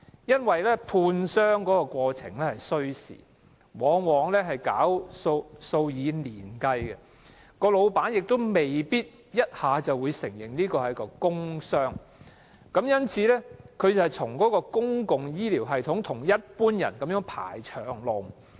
一般工傷個案判傷需時，過程往往數以年計，僱主亦未必一下子承認個案屬於工傷，受傷工友因而須在公共醫療系統與其他病人一同"排長龍"。